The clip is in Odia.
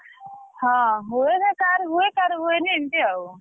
ହଁ ହୁଏ ସେ କାହାର ହୁଏ କାହର ହୁଏନି ଏମିତି ଆଉ।